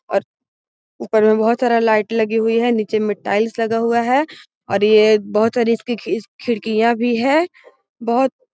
और ऊपर में बहुत सारा लाइट लगी हुई है और नीचे में टाइल्स लगा हुआ है और ये बहुत सारी इस-इ इसकी खिड़कियां भी है बोहोत --